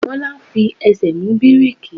Bola fi ẹsẹ̀ mú bíréékì.